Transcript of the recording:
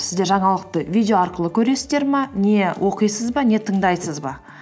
сіздер жаңалықты видео арқылы көресіздер ме не оқисыз ба не тыңдайсыз ба